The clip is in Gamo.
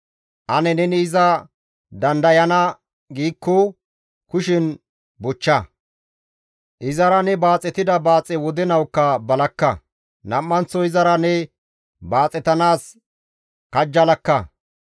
Ane neni iza dandayana gidikko kushen bochcha! Izara ne baaxetida baaxe wodenawukka balakka; nam7anththo izara ne baaxetanaas kajjalakka.